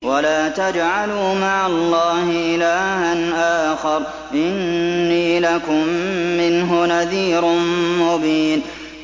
وَلَا تَجْعَلُوا مَعَ اللَّهِ إِلَٰهًا آخَرَ ۖ إِنِّي لَكُم مِّنْهُ نَذِيرٌ مُّبِينٌ